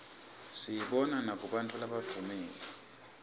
siyibona nakubantfu labadvumile